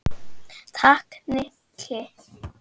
Takk, Nikki